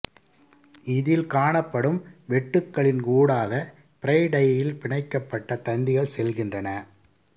இதில் காணப்படும் வெட்டுக்களின் ஊடாக பிரடையில் பிணைக்கப்பட்ட தந்திகள் செல்கின்றன